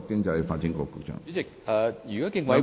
主席，如果競委會......